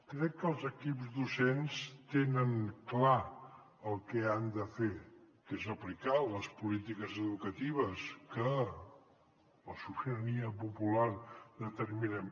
crec que els equips docents tenen clar el que han de fer que és aplicar les polítiques educatives que la sobirania popular determinem